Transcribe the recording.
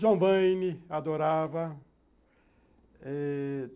John Wayne, adorava.